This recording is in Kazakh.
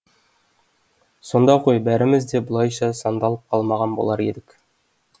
сонда ғой бәріміз де бұлайша сандалып қалмаған болар едік